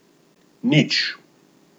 Nič.